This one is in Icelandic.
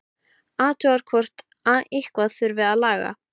Athugar hvort eitthvað þurfi að laga.